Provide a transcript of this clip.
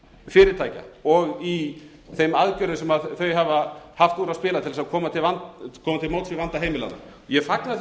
fyrirtækja og í þeim aðgerðum sem þau hafa haft úr að spila til að koma til móts við vanda heimilanna ég fagna því